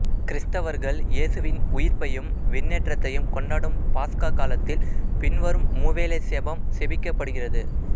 கிறிஸ்தவர்கள் இயேசுவின் உயிர்ப்பையும் விண்ணேற்றத்தையும் கொண்டாடும் பாஸ்கா காலத்தில் பின்வரும் மூவேளை செபம் செபிக்கப்படுகிறது